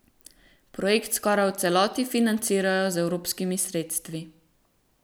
Projekt skoraj v celoti financirajo z evropskimi sredstvi.